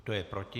Kdo je proti?